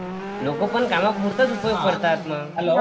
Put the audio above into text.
लोक पण कामापुरती करतात ना